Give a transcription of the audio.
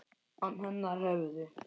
Án hennar hefðu